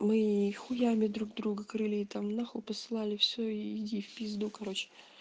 мы и хуями друг друга крыли и там на хуй посылали все иди в пизду короче